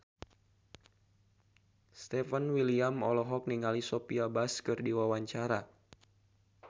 Stefan William olohok ningali Sophia Bush keur diwawancara